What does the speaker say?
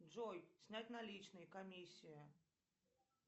джой снять наличные комиссия